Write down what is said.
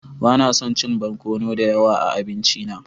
Ba na son chin barkono da yawa a abinci na.